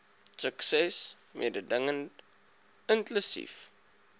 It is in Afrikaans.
sukses mededingend inklusief